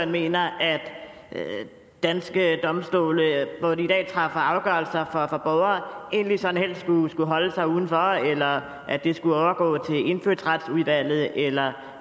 mener at danske domstole hvor de i dag træffer afgørelser for borgere egentlig sådan helst skulle holde sig udenfor eller at det skulle overgå til indfødsretsudvalget eller